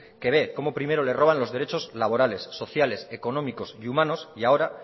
que ve como primero le roban los derechos laborales sociales económicos y humanos y ahora